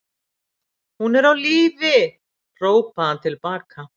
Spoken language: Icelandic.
Hún er á lífi, hrópaði hann til baka.